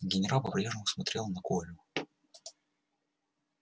генерал по прежнему смотрел на колю